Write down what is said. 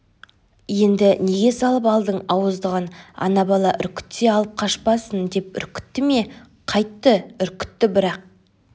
енді неге салып алдың ауыздығын ана бала үркітсе алып қашпасын деп үркітті ме қайтті үркітті бірақ